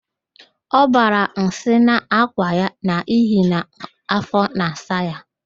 Ọ bara nsị n'akwa ya n'ihi na afọ na-asa ya